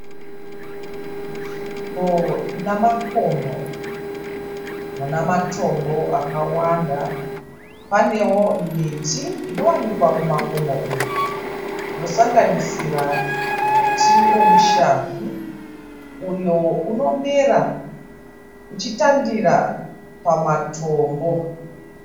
Nzvimbo inemakomo munamatombo akawanda panewo miti inowanikwa mumakomo umu unosanganisira muti wemushavhi uyo unemera uchitandira pamatombo.